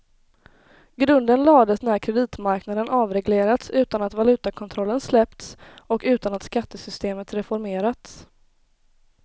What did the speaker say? Grunden lades när kreditmarknaden avreglerats utan att valutakontrollen släppts och utan att skattesystemet reformerats.